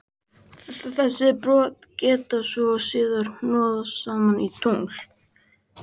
Þessi brot geta svo síðar hnoðast saman í tungl.